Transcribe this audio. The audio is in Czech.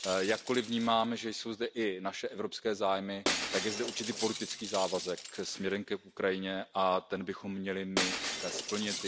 Jakkoliv vnímám, že jsou zde i naše evropské zájmy, tak je zde určitý politický závazek směrem k Ukrajině a ten bychom měli splnit.